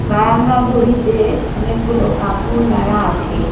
বারান্দায় দড়িতে অনেকগুলো কাপড় নাড়া আছে।